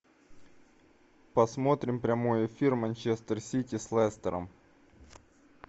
посмотрим прямой эфир манчестер сити с лестером